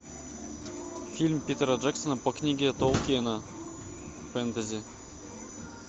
фильм питера джексона по книге толкиена фэнтези